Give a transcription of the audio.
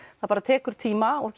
það bara tekur tíma og